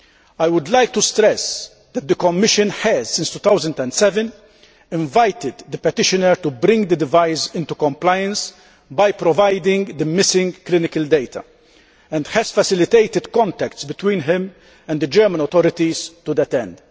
I would like to stress that the Commission has, since 2007, invited the petitioner to bring the device into compliance by providing the missing clinical data and has facilitated contacts between him and the German authorities to that end.